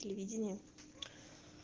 телевидение